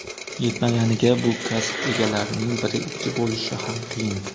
Yetmaganiga bu kasb egalarining biri ikki bo‘lishi ham qiyin.